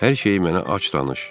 Hər şeyi mənə açıq danış.